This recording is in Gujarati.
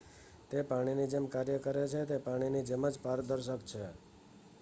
"""તે પાણીની જેમ કાર્ય કરે છે. તે પાણીની જેમ જ પારદર્શક છે.